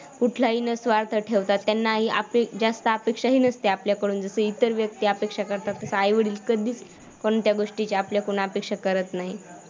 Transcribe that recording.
कुठलाही न स्वार्थ ठेवता त्यांनाही आपली जास्त अपेक्षाही नसते आपल्याकडून जसे इतर व्यक्ती अपेक्षा करतात तसं आई-वडील कधीच कोणत्या गोष्टीची आपल्याकडून अपेक्षा करत नाहीत.